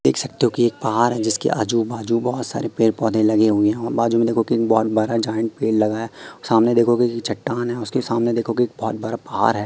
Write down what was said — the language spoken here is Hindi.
देख सकते हो कि एक पहाड़ है जिसके आजू बाजू बहुत सारे पेड़ पौधे लगे हुए हैं और बाजू में देखो किंग बॉन्ड भरा ज्वाइंट पेड़ लगा है और सामने देखोगे कि चट्टान है उसके सामने देखोगे एक बहुत बड़ा पहाड़ है।